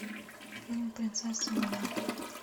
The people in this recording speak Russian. фильм принцесса монако